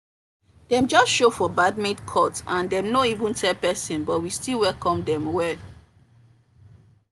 dem just show for the badminton court and dem no even tell person but we still welcome dem well